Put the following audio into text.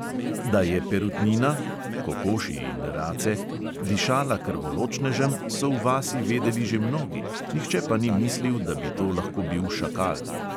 Da je perutnina (kokoši in race) dišala krvoločnežem, so v vasi vedeli že mnogi, nihče pa ni mislil, da bi to lahko bil šakal.